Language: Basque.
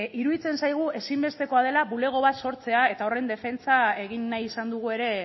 iruditzen zaigu ezinbestekoa dela bulego bat sortzea eta horren defentsan egin nahi izan dugu ere